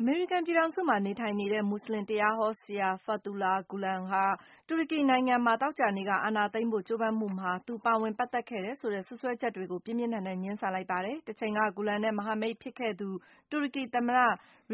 အမေရိကန်ပြည်ထောင်စုမှာ နေထိုင်နေတဲ့ မူဆလင်တရားဟောဆရာ Fethullah Gulen က တူရကီနိုင်ငံမှာ သောကြာနေ့က အာဏာသိမ်းဖို့ ကြိုးပမ်းမှုမှာ သူ ပါဝင်ပတ်သက်ခဲ့တယ်ဆိုတဲ့ စွပ်စွဲချက်တွေကို ပြင်းပြင်းထန်ထန် ငြင်းဆန်လိုက်ပါတယ်။ တချိန်က Gulen နဲ့ မဟာမိတ်ဖြစ်ခဲ့သူ တူရကီသမ္မတ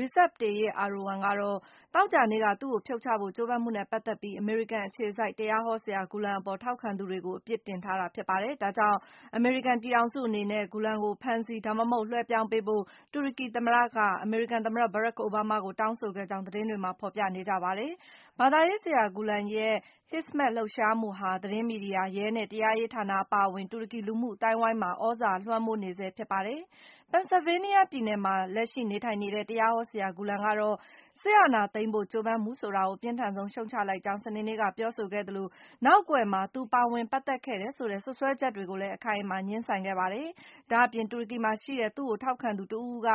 Recep Tayyip Erdogan ကတော့ သောကြာနေ့က သူ့ကို ဖြုတ်ချဖို့ ကြိုးပမ်းမှုနဲ့ ပတ်သက်ပြီး အမေရိကန်အခြေစိုက် တရားဟောဆရာ Gulen အပေါ် ထောက်ခံသူတွေကို အပြစ်တင်ထားတာပါ။ ဒါကြောင့် အမေရိကန်ပြည်ထောင်စုအနေနဲ့ Gulen ကို ဖမ်းဆီး ဒါမှမဟုတ် လွှဲပြောင်းပေးဖို့ - တူရကီသမ္မတ က အမေရိကန်သမ္မတ ဘရက်ခ် အိုဘားမား ကို တောင်းဆိုခဲ့ကြောင်း သတင်းတွေမှာ ဖော်ပြနေကြပါတယ်။ ဘာသာရေးဆရာ Gulen ရဲ့ Hizmet လှုပ်ရှားမှုဟာ သတင်းမီဒီယာ၊ ရဲနဲ့ တရားရေးဌာန အပါအဝင် တူရကီ လူမှုအသိုင်းအဝိုင်းမှာ သြဇာလွှမ်းမိုးနေဆဲ ဖြစ်ပါတယ်။ ပန်ဆာဗေးနီးယားပြည်နယ်မှာ လက်ရှိ နေထိုင်နေတဲ့ တရားဟောဆရာ Gulen ကတော့ - စစ်အာဏာ သိမ်းဖို့ ကြိုးပမ်းမှု ဆိုတာကို အပြင်းထန်ဆုံး ရှုတ်ချလိုက်ကြောင်း စနေနေ့က ပြောဆိုခဲ့သလို နောက်ကွယ်မှာ သူပါဝင်ခဲ့တယ်ဆိုတဲ့ စွပ်စွဲချက်တွေကိုလည်း အခိုင်အမာ ငြင်းဆန်ခဲ့ပါတယ်။ ဒါ့အပြင် တူရကီမှာရှိတဲ့ သူ့ကိုထောက်ခံသူတဦးဦးက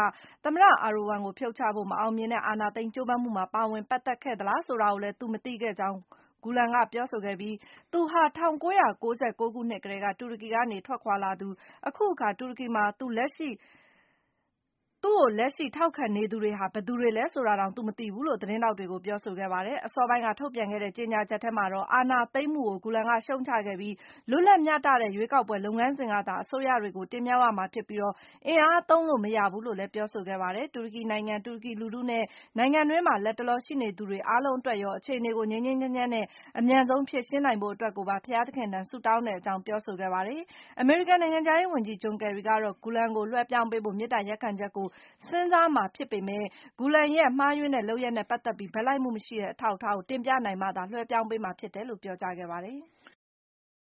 သမ္မတ အာဒိုဝမ်ကို ဖြုတ်ချဖို့ မအောင်မြင်တဲ့ အာဏာသိမ်းကြိုးပမ်းမှုမှာ ပါဝင်ပတ်သက်ခဲ့သလား ဆိုတာကိုလည်း သူမသိခဲ့ကြောင်း Gulen က ပြောဆိုခဲ့ပြီး၊ သူဟာ ၁၉၉၉ ခုနှစ်မှာကတည်းက တူရကီကနေ ထွက်ခွာလာသူ၊ အခုအခါမှာ တူရကီမှာ သူကို လက်ရှိ ထောက်ခံနေသူတွေဟာ ဘယ်သူတွေလဲဆိုတာတောင် သူ မသိဘူးလို့ သတင်းထောက်တွေကို ပြောဆိုခဲ့ပါတယ်။ အစောပိုင်းက ထုတ်ပြန်ခဲ့တဲ့ ကြေညာချက်ထဲမှာတော့ - အာဏာသိမ်းမှုကို Gulen က ရှုတ်ချခဲ့ပြီး - လွတ်လပ်မျှတတဲ့ ရွေးကောက်ပွဲလုပ်ငန်းစဉ်ကသာ အစိုးရတွေကို တင်မြှောက်ရမှာဖြစ်ပြီး၊ အင်အားသုံးလို့ မရဘူးလို့လည်း ပြောဆိုခဲ့တာပါ။ တူရကီနိုင်ငံ၊ တူရကီလူထုနဲ့ နိုင်ငံတွင်းမှာ လတ်တလော ရှိနေသူတွေ အားလုံးအတွက်ရော - အခြေအနေကို ငြိမ်းငြိမ်းချမ်းချမ်းနဲ့ အမြန်ဆုံး ဖြေရှင်းနိုင်ဖို့ အတွက်ကိုပါ ဘုရားသခင်ထံ ဆုတောင်းတဲ့အကြောင်း ပြောဆိုခဲ့ပါတယ်။ အမေရိကန်နိုင်ငံခြားရေးဝန်ကြီး ဂျွန်ကယ်ရီကတော့ - Gulen ကို လွှဲပြောင်းပေးဖို့ မေတ္တာရပ်ခံချက်ကို စဉ်းစားမှာဖြစ်ပေမဲ့ - Gulen ရဲ့ မှားယွင်းတဲ့လုပ်ရပ်နဲ့ပတ်သက်ပြီး ဘက်လိုက်မှုမရှိတဲ့ အထောက်အထားကို တင်ပြနိုင်မှသာ လွှဲပြောင်းပေးမှာဖြစ်တယ်လို့ ပြောကြားခဲ့ပါတယ်။